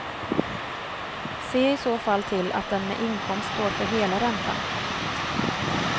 Se i så fall till att den med inkomst står för hela räntan.